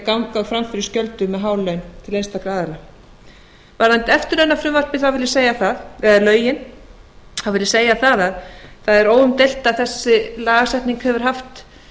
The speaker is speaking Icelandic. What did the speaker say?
ganga fram fyrir skjöldu með há laun fyrir einstaka aðila varðandi eftirlaunafrumvarpið eða lögin þá vil ég segja að það er óumdeilt að þessi lagasetning hefur haft